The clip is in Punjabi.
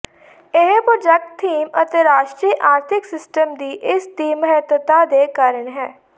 ਇਹ ਪ੍ਰਾਜੈਕਟ ਥੀਮ ਅਤੇ ਰਾਸ਼ਟਰੀ ਆਰਥਿਕ ਸਿਸਟਮ ਦੀ ਇਸ ਦੀ ਮਹੱਤਤਾ ਦੇ ਕਾਰਨ ਹੈ